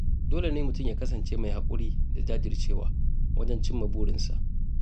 Dole ne mutum ya kasance mai haƙuri da jajircewa wajen cimma burinsa.